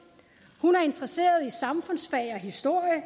hun er interesseret i samfundsfag og historie og